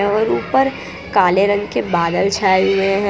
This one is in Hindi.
और ऊपर काले रंग के बादल छाए हुए--